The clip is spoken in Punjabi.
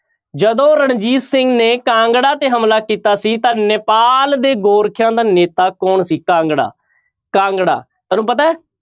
ਜਦੋਂ ਰਣਜੀਤ ਸਿੰਘ ਨੇ ਕਾਂਗੜਾ ਤੇ ਹਮਲਾ ਕੀਤਾ ਸੀ ਤਾਂ ਨੇਪਾਲ ਦੇ ਗੋਰਖਿਆਂ ਦਾ ਨੇਤਾ ਕੌਣ ਸੀ? ਕਾਂਗੜਾ, ਕਾਂਗੜਾ ਤੁਹਾਨੂੰ ਪਤਾ ਹੈ,